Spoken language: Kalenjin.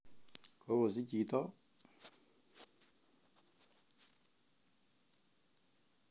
Kokosich chito?